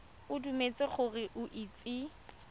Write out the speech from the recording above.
o dumetse gore o itse